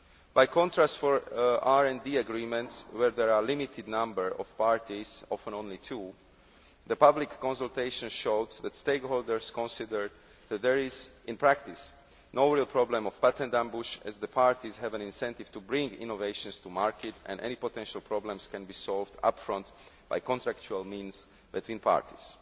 By contrast, for RD agreements where there are a limited number of parties often only two the public consultation showed that stakeholders considered that there is, in practice, no real problem of patent ambush as the parties have an incentive to bring innovations to market and any potential problems can be solved upfront by contractual means between parties.